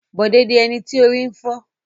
Bọ̀dé ni ẹni tí orí ń fọ́.